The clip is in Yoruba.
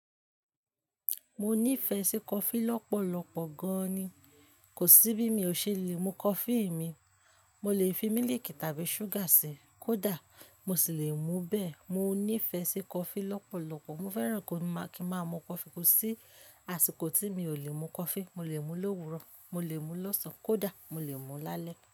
Mo nífẹ̀ẹ́ sí coffee lọ́pọ̀lọpọ̀ gan ni, kò sí bí mi ò ṣe lè mu coffee mi. Mo lè fi mílìkì tàbí ṣúgà sí i, kódà mo sì le mu bẹ́ẹ̀. Mo nífẹ̀ẹ́ sí coffee lọ́pọ̀lọpọ̀, mo fẹ́ràn kí ma mu coffee ko sí àsìkò tí mi ò lè mu coffee, mo lè mú ló́wúrọ̀, mo lè mú lọ́sàn-án kódà mo lè mú lálẹ́.